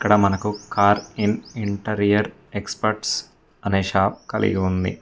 అక్కడ మనకు car in interior experts అనే షాప్ కలిగి ఉంది.